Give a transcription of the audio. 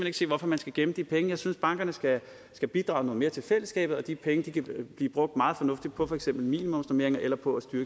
ikke se hvorfor man skal gemme de penge jeg synes at bankerne skal skal bidrage noget mere til fællesskabet og de penge kan blive brugt meget fornuftigt på for eksempel minimumsnormeringer eller på